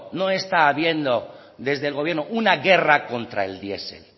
no está habiendo desde el gobierno una guerra contra el diesel